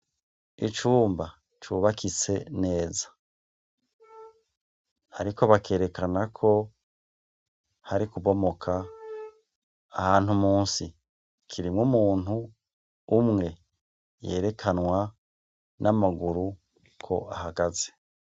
Icumba cubakitse neza. Ariko bakerekana ko hari kubomoka. Ahantu munsi kirimwo umuntu umwe yerekanwa n'amaguru, ko ahagaze.